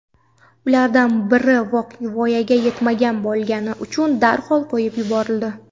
Ulardan biri voyaga yetmagan bo‘lgani uchun darhol qo‘yib yuborildi.